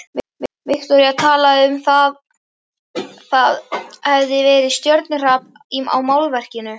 Viktoría talaði um að það hefði verið stjörnuhrap á málverkinu.